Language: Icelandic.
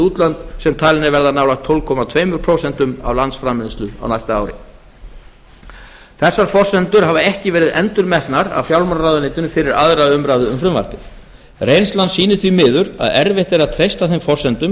útlönd sem talinn er verða nálægt tólf komma tvö prósent af landsframleiðslu á næsta ári þessar forsendur hafa ekki verið endurmetnar af fjármálaráðuneytinu fyrir aðra umræðu um frumvarpið reynslan sýnir því miður að erfitt er að treysta þeim forsendum